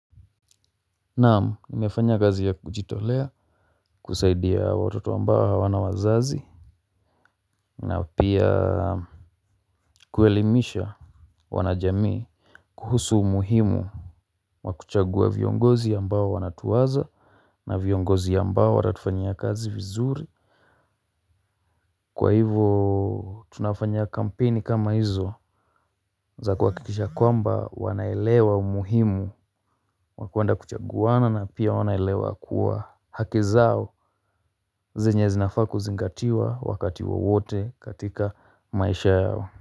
Naam nimefanya kazi ya kujitolea kusaidia watoto ambao hawana wazazi. Na pia kuelimisha wanajamii. Kuhusu umuhimu wa kuchagua viongozi ambao wanatuwaza na viongozi ambao watatufanyia kazi vizuri kwa hivyo tunafanya kampeni kama hizo za kuhakikisha kwamba wanaelewa umuhimu wa kwenda kuchaguana na pia wanaelewa kuwa haki zao zenye zinafaa kuzingatiwa wakati wowote katika maisha yao.